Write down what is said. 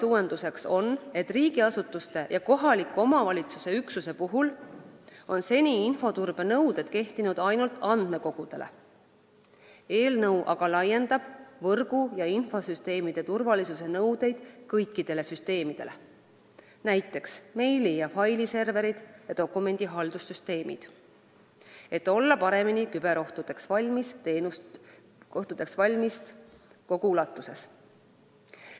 Uuendus on selline: riigiasutuste ja kohaliku omavalitsuse üksuse puhul on seni infoturbe nõuded kehtinud ainult andmekogudele, eelnõu aga laiendab võrgu ja infosüsteemi turvalisuse nõudeid kõikidele süsteemidele, näiteks meili- ja failiserverid ning dokumendihaldussüsteemid, et olla paremini küberohtudeks valmis kogu ulatuses.